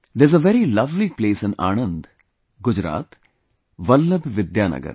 There is a very lovely place in Anand, Gujarat Vallabh Vidyanagar